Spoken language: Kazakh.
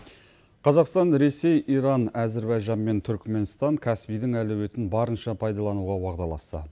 қазақстан ресей иран әзірбайжан мен түркіменстан каспийдің әлеуетін барынша пайдалануға уағдаласты